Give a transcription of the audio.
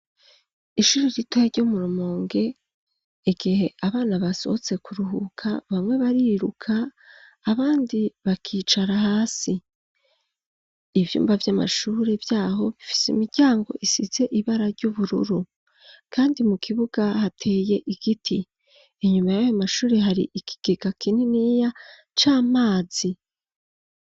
Ishure ritoya ryo mu rumonge igihe abana basohotse kuruhuka bamwe bariruka abandi bakicara hasi ivyumba vy'amashuri vyaho bifise imiryango isize ibara ry'ubururu kandi mu kibuga hateye igiti inyuma yayo mashure hari ikigega kinini ya c'amazi.